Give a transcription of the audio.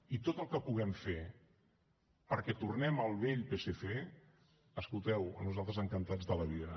i tot el que puguem fer perquè tornem al vell psc escolteu nosaltres encantats de la vida